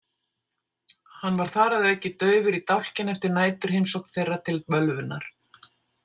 Hann var þar að auki daufur í dálkinn eftir næturheimsókn þeirra til völvunnar.